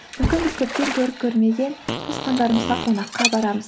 мүмкін біз көптен көріп көрмеген туысқандарымызға қонаққа барамыз